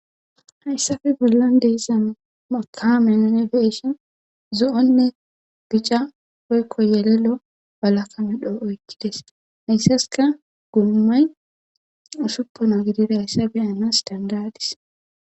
hayssafe bollon deeza mokaame anifeshon zu7onne bica poykko yelelo balakamedho oykkides hayssaska gummay ushuppono gidida hayssafe anas dandadis